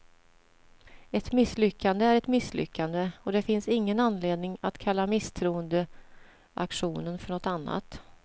Ett misslyckande är ett misslyckande, och det finns ingen anledning att kalla misstroendeaktionen för något annat.